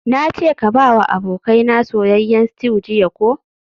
Nace ka bawa abokaina soyayyen stew jiya ko?